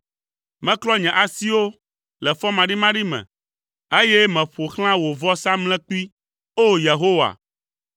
Meklɔ nye asiwo le fɔmaɖimaɖi me, eye meƒo xlã wò vɔsamlekpui, O! Yehowa,